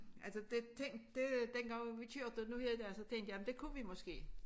Altså det tænkte dengang vi kørte nu her der så tænkte jeg det kunne vi måske